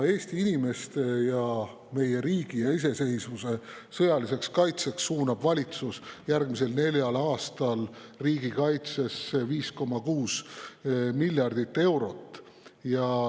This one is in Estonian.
Eesti inimeste, meie riigi ja iseseisvuse sõjaliseks kaitsmiseks suunab valitsus järgmisel neljal aastal riigikaitsesse 5,6 miljardit eurot.